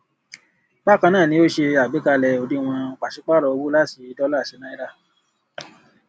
bákan náà ní ó ṣe àgbékalẹ òdiwọn pàsípárò owó láti dóòlà sí náírà